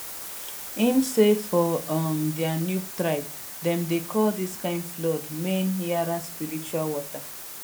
im say for um dia nupe tribe dem dey call dis kain flood mainyara spiritual water